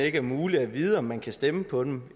ikke er muligt at vide om man kan stemme på dem